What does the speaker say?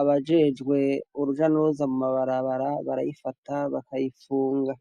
abajejwe uruja n'uruza mu mabarabara barayifata bakayifunga.